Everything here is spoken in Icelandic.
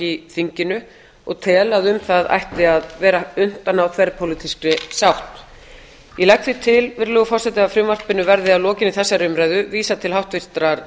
í þinginu og tel að um það ætti að vera unnt að ná þverpólitískri sátt ég legg því til virðulegur forseti að frumvarpinu verði að lokinni þessari umræðu vísað til háttvirtrar